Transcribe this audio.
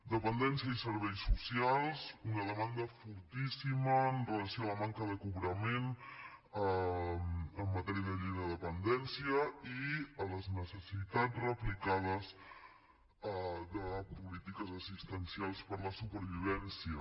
dependència i serveis socials una demanda fortíssima amb relació a la manca de cobrament en matèria de llei de dependència i a les necessitats replicades de polítiques assistencials per a la supervivència